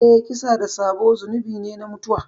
Eh, kisa da sabo zunubi ne na mutuwa.